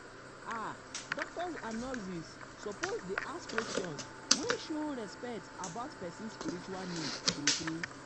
ah doctors and nurses and nurses suppose dey ask questions wey show respect about person spiritual needs true true.